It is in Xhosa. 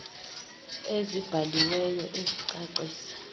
ezibhali weyo ezicacisa